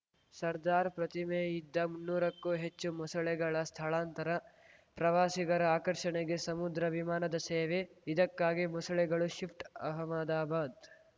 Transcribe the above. ಸದಾರ್‌ ಪ್ರತಿಮೆ ಇದ್ದ ಮುನ್ನೂರಕ್ಕೂ ಹೆಚ್ಚು ಮೊಸಳೆಗಳ ಸ್ಥಳಾಂತರ ಪ್ರವಾಸಿಗರ ಆಕರ್ಷಣೆಗೆ ಸಮುದ್ರ ವಿಮಾನದ ಸೇವೆ ಇದಕ್ಕಾಗಿ ಮೊಸಳೆಗಳು ಶಿಫ್ಟ್‌ ಅಹಮದಾಬಾದ್‌